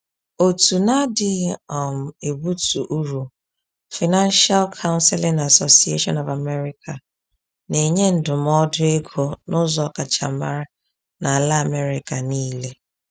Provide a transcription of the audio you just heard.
Òtù na-adịghị um ebutu uru, Financial Counseling Association of America, na-enye ndụmọdụ ego n’ụzọ ọkachamara n’ala America niile.